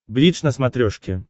бридж на смотрешке